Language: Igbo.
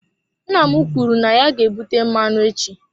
Nna m kwuru na ya ga-ebute mmanụ echi.